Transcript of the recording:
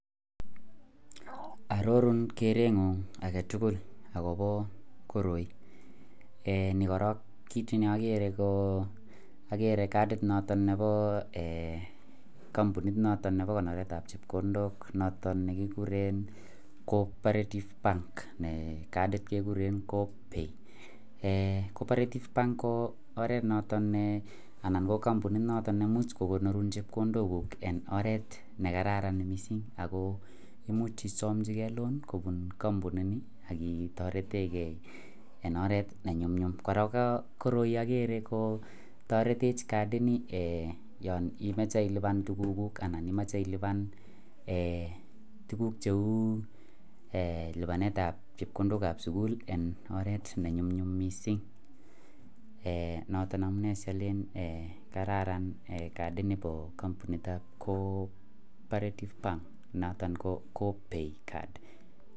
Arorun kerenyun akobo koroi en yu korong ko kit ne agere en yu kiagere kadit noton nebo. Kampunit noton nebo ko oret ab chepkondok noton nekikuren cooperative bank en cadi kekuren coopay cooperative bank ko oretnoton ne Nebo kambunit noton neimuche konyorun chepkondok en oret nekararan mising ako imuch isamchi gei loan kobun kambuni ni ketaretengei en oret nenyumnyum kora ko koroi agere kotaretech kadi Ni yanimache iluban tuguk anan imache iluban tuguk cheu lubanet ab chepkondok ab sukul en oret nenyumnyum mising noton amune salenen kararan kadit nibo kambuni niton ko cooperation bank noton ko coopay.